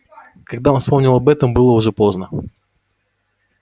когда он вспомнил об этом было уже поздно